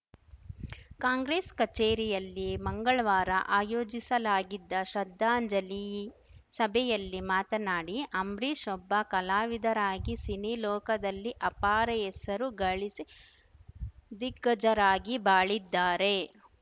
ಕಾಂಗ್ರೆಸ್‌ ಕಚೇರಿಯಲ್ಲಿ ಮಂಗಳ್ವಾರ ಆಯೋಜಿಸಲಾಗಿದ್ದ ಶ್ರದ್ಧಾಂಜಲಿ ಸಭೆಯಲ್ಲಿ ಮಾತನಾಡಿ ಅಂಬ್ರಿಷ್‌ ಒಬ್ಬ ಕಲಾವಿದರಾಗಿ ಸಿನಿ ಲೋಕದಲ್ಲಿ ಅಪಾರ ಹೆಸರು ಗಳಿಸಿ ದಿಗ್ಗಜರಾಗಿ ಬಾಳಿದ್ದಾರೆ